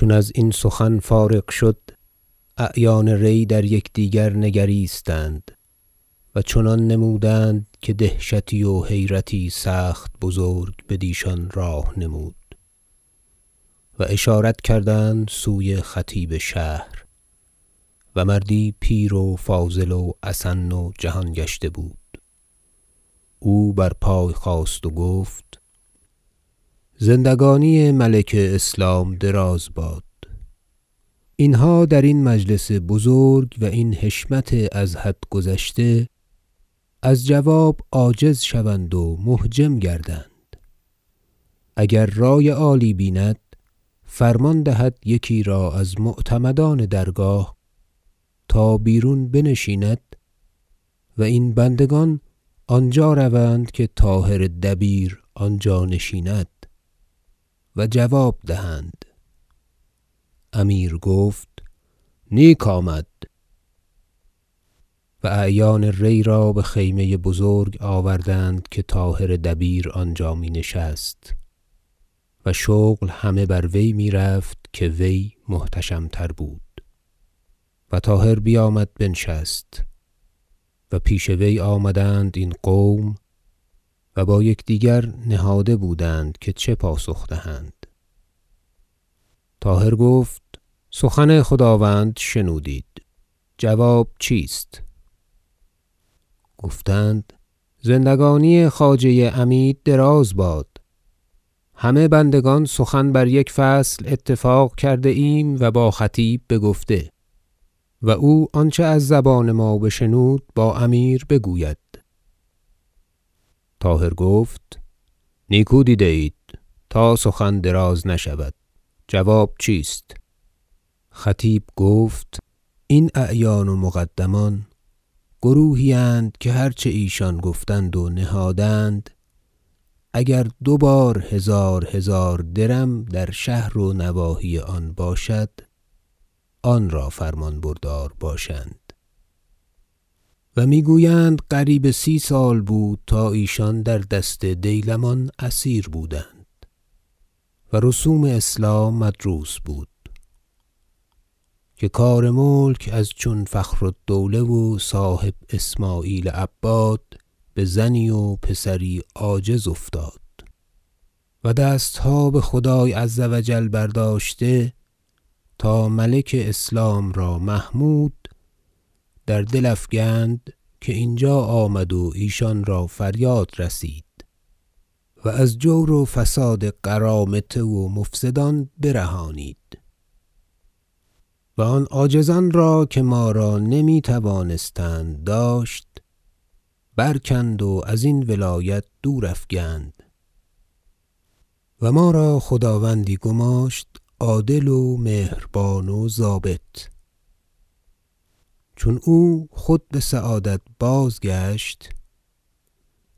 چون ازین سخن فارغ شد اعیان ری در یکدیگر نگریستند و چنان نمودند که دهشتی و حیرتی سخت بزرگ بدیشان راه نمود و اشارت کردند سوی خطیب شهر -و مردی پیر و فاضل و اسن و جهان گشته بود- او بر پای خاست و گفت زندگانی ملک اسلام دراز باد اینها در این مجلس بزرگ و این حشمت از حد گذشته از جواب عاجز شوند و محجم گردند اگر رای عالی بیند فرمان دهد یکی را از معتمدان درگاه تا بیرون بنشیند و این بندگان آنجا روند که طاهر دبیر آنجا نشیند و جواب دهند امیر گفت نیک آمد و اعیان ری را به خیمه بزرگ آوردند که طاهر دبیر آنجا می نشست -و شغل همه بر وی می رفت که وی محتشم تر بود- و طاهر بیامد بنشست و پیش وی آمدند این قوم و با یکدیگر نهاده بودند که چه پاسخ دهند طاهر گفت سخن خداوند شنودید جواب چیست گفتند زندگانی خواجه عمید دراز باد همه بندگان سخن بر یک فصل اتفاق کرده ایم و با خطیب بگفته و او آنچه از زبان ما بشنود با امیر بگوید طاهر گفت نیکو دیده اید تا سخن دراز نشود جواب چیست خطیب گفت این اعیان و مقدمان گروهی اند که هرچه ایشان گفتند و نهادند اگر دو بار هزارهزار درم در شهر و نواحی آن باشد آن را فرمان بردار باشند و می گویند قریب سی سال بود تا ایشان در دست دیلمان اسیر بودند و رسوم اسلام مدروس بود که کار ملک از چون فخرالدوله و صاحب اسمعیل عباد به زنی و پسری عاجز افتاد و دستها به خدای -عز و جل- برداشته تا ملک اسلام را محمود در دل افکند که اینجا آمد و ایشان را فریاد رسید و از جور و فساد قرامطه و مفسدان برهانید و آن عاجزان را که ما را نمی توانستند داشت برکند و از این ولایت دور افگند و ما را خداوندی گماشت عادل و مهربان و ضابط چون او خود به سعادت بازگشت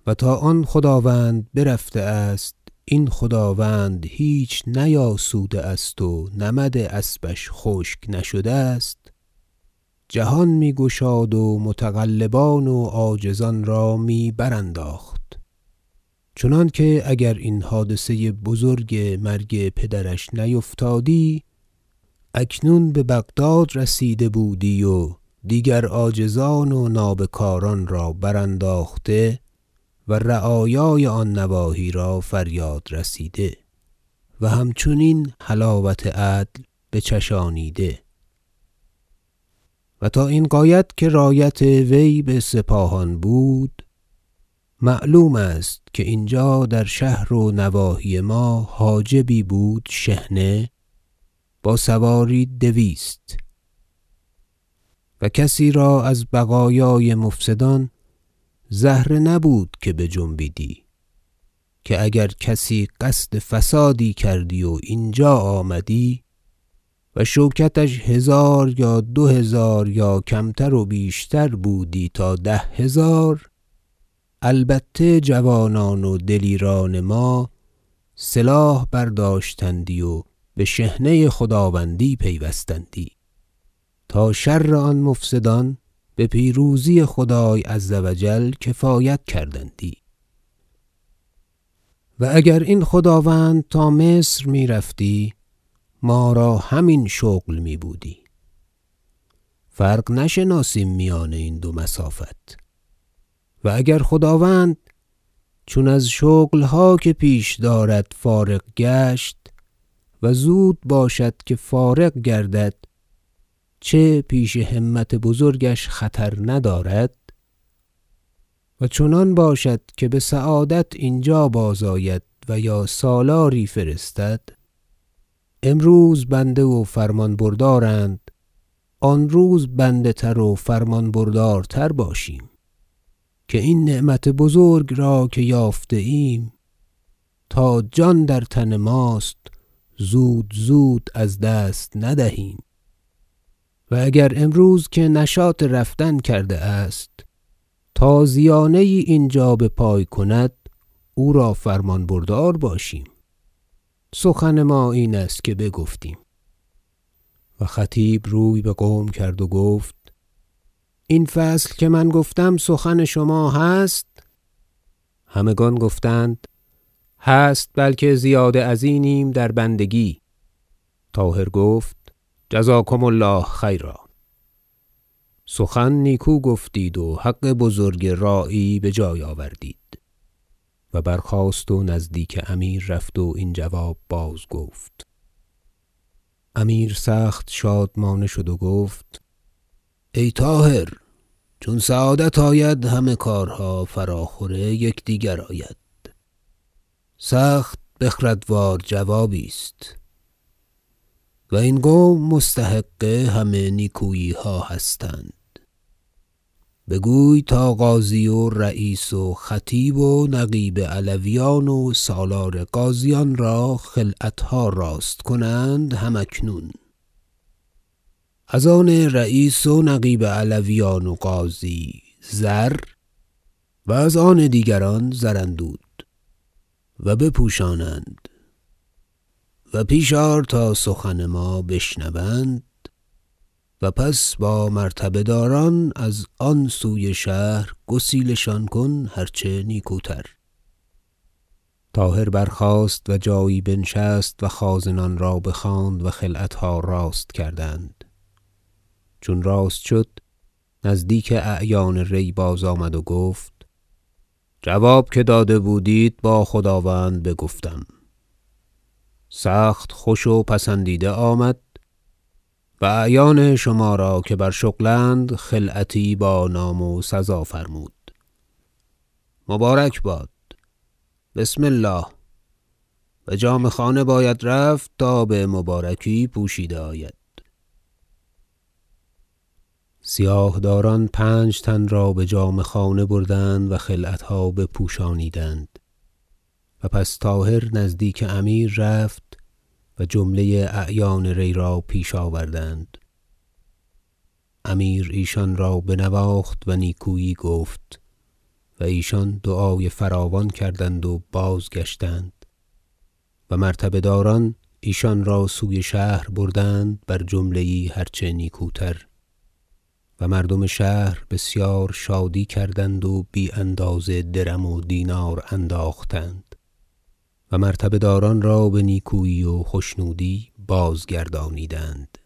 و تا آن خداوند برفته است این خداوند هیچ نیاسوده است و نمد اسبش خشک نشده است جهان می گشاد و متغلبان و عاجزان را می برانداخت چنانکه اگر این حادثه بزرگ مرگ پدرش نیفتادی اکنون به بغداد رسیده بودی و دیگر عاجزان و نابکاران را برانداخته و رعایای آن نواحی را فریاد رسیده و همچنین حلاوت عدل بچشانیده و تا این غایت که رایت وی به سپاهان بود معلوم است که اینجا در شهر و نواحی ما حاجبی بود شحنه با سواری دویست و کسی را از بقایای مفسدان زهره نبود که بجنبیدی که اگر کسی قصد فسادی کردی و اینجا آمدی و شوکتش هزار یا دوهزار یا کمتر و بیشتر بودی تا ده هزار البته جوانان و دلیران ما سلاح برداشتندی و به شحنه خداوندی پیوستندی تا شر آن مفسدان به پیروزی خدای -عز و جل- کفایت کردندی و اگر این خداوند تا مصر می رفتی ما را همین شغل می بودی فرق نشناسیم میان این دو مسافت و اگر خداوند چون از شغلها که پیش دارد فارغ گشت -و زود باشد که فارغ گردد چه پیش همت بزرگش خطر ندارد- و چنان باشد که به سعادت اینجا بازآید و یا سالاری فرستد امروز بنده و فرمان بردارند آن روز بنده تر و فرمان بردارتر باشیم که این نعمت بزرگ را که یافته ایم تا جان در تن ماست زود زود از دست ندهیم و اگر امروز که نشاط رفتن کرده است تازیانه یی اینجا بپای کند او را فرمان بردار باشیم سخن ما اینست که بگفتیم و خطیب روی به قوم کرد و گفت این فصل که من گفتم سخن شما هست همگان گفتند هست بلکه زیاده ازینیم در بندگی طاهر گفت جزاکم الله خیرا سخن نیکو گفتید و حق بزرگ راعی به جای آوردید و برخاست نزدیک امیر رفت و این جواب بازگفت امیر سخت شادمانه شد و گفت ای طاهر چون سعادت آید همه کارها فراخور یکدیگر آید سخت بخردوار جوابی است و این قوم مستحق همه نیکوییها هستند بگوی تا قاضی و رییس و خطیب و نقیب علویان و سالار غازیان را خلعتها راست کنند هم اکنون از آن رییس و نقیب علویان و قاضی زر و از آن دیگران زراندود و بپوشانند و پیش آر تا سخن ما بشنوند و پس با مرتبه داران از آن سوی شهر گسیل شان کن هرچه نیکوتر طاهر برخاست و جایی بنشست و خازنان را بخواند و خلعتها راست کردند چون راست شد نزدیک اعیان ری بازآمد و گفت جواب که داده بودید با خداوند بگفتم سخت خوش و پسندیده آمد و اعیان شما را که بر شغل اند خلعتی بانام و سزا فرمود مبارک باد بسم الله به جامه خانه باید رفت تا بمبارکی پوشیده آید سیاه داران پنج تن را به جامه خانه بردند و خلعتها بپوشانیدند و پس طاهر نزدیک امیر رفت و جمله اعیان ری را پیش آوردند امیر ایشان را بنواخت و نیکویی گفت و ایشان دعای فراوان کردند و بازگشتند و مرتبه داران ایشان را سوی شهر بردند بر جمله یی هر چه نیکوتر و مردم شهر بسیار شادی کردند و بی اندازه درم و دینار انداختند و مرتبه داران را به نیکویی و خشنودی بازگردانیدند